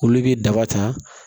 Olu bɛ daba ta